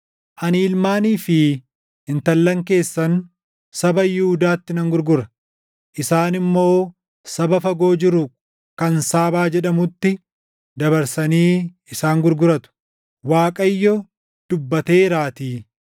Ani ilmaanii fi intallan keessan saba Yihuudaatti nan gurgura; isaan immoo saba fagoo jiru kan Saabaa jedhamutti dabarsanii isaan gurguratu.” Waaqayyo dubbateeraatii.